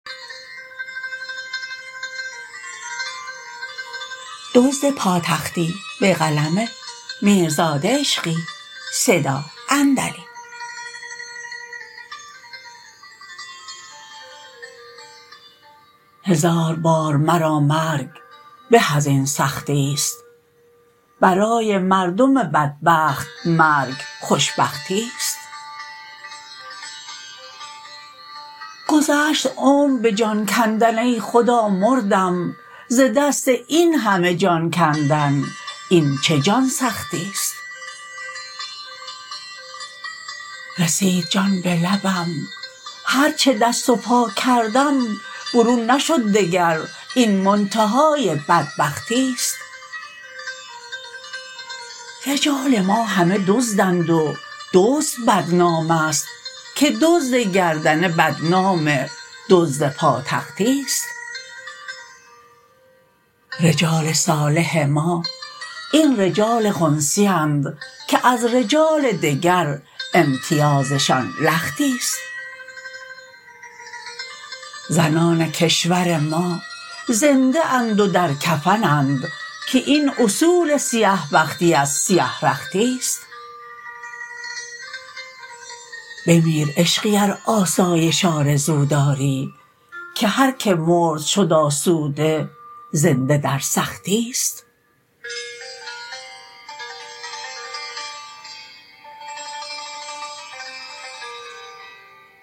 هزار بار مرا مرگ به از این سختی است برای مردم بدبخت مرگ خوشبختی است گذشت عمر به جان کندن ای خدا مردم ز دست این همه جان کندن این چه جان سختی است رسید جان به لبم هر چه دست و پا کردم برون نشد دگر این منتهای بدبختی است رجال ما همه دزدند و دزد بدنام است که دزد گردنه بدنام دزد پاتختی است رجال صالح ما این رجال خنثی اند که از رجال دگر امتیازشان لختی است زنان کشور ما زنده اند و در کفنند که این اصول سیه بختی از سیه رختی است بمیر عشقی ار آسایش آرزو داری که هر که مرد شد آسوده زنده در سختی است